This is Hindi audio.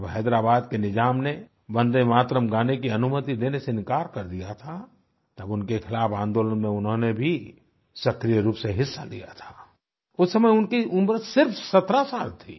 जब हैदराबाद के निजाम ने वन्दे मातरम् गाने की अनुमति देने से इनकार कर दिया था तब उनके ख़िलाफ़ आंदोलन में उन्होंने भी सक्रिय रूप से हिस्सा लिया था उस समय उनकी उम्र सिर्फ 17 साल थी